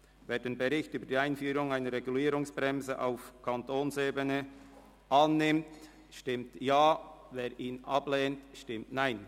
Wer den Bericht über die Einführung einer Regulierungsbremse auf Kantonsebene zur Kenntnis nimmt, stimmt Ja, wer dies ablehnt, stimmt Nein.